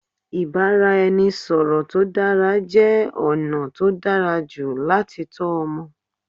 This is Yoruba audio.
Ìbáraẹnisọ̀rọ̀ tó dára jẹ́ ọ̀nà tó dára jù láti tọ́ ọmọ.